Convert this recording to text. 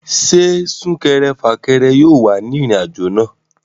Ṣé súnkẹrẹ fàkẹrẹ yóò wà ní ìrìn àjò náà?